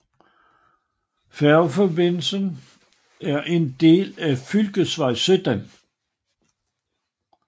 Færgeforbindelsen er en del af fylkesvej 17